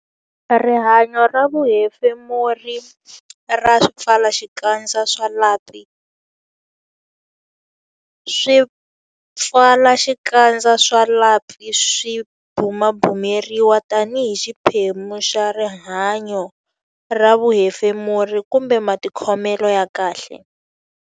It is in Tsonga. Rihanyo ra vuhefemuri ra swipfalaxikandza swa lapi Swipfalaxikandza swa lapi swi bumabumeriwa tanihi xiphemu xa rihanyo ra vuhefemuri kumbe matikhomelo ya kahle.